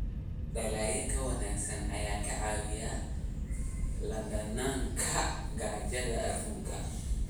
Dalagga ka wanaagsan ayaa ka caawiya la dagaalanka gaajada adduunka.